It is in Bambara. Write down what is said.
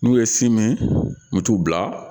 N'u ye si min u bɛ t'u bila